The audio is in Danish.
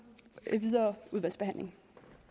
videre udvalgsbehandling